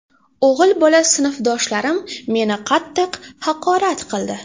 O‘g‘il bola sinfdoshlarim meni qattiq haqorat qildi.